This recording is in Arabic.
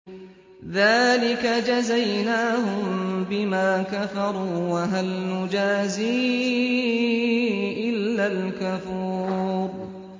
ذَٰلِكَ جَزَيْنَاهُم بِمَا كَفَرُوا ۖ وَهَلْ نُجَازِي إِلَّا الْكَفُورَ